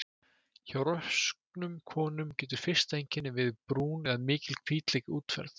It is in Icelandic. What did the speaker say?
Hjá rosknum konum getur fyrsta einkennið verið brún eða mikil hvítleit útferð.